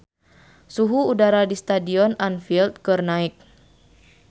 Suhu udara di Stadion Anfield keur naek